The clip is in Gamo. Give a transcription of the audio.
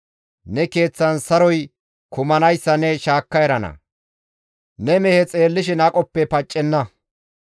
Ne keeththan saroy kumanayssa ne shaakka erana; ne mehe xeellishin aqoppe paccenna.